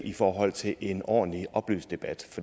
i forhold til en ordentlig oplyst debat